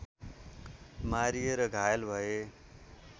मारिए र घायल भए